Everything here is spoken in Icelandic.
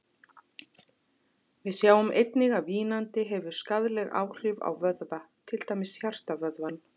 Við sjáum einnig að vínandi hefur skaðleg áhrif á vöðva, til dæmis hjartavöðvann.